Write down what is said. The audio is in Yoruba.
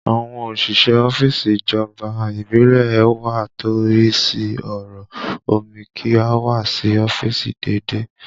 Àwọn òṣìṣẹ́ ọ́fíìsì ìjọba ìbílẹ̀ ẹ wa tó ń rí sí ọ̀rọ̀ omi kì í wá sí ọ́fíìsì déédéé